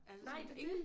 Nej det dét!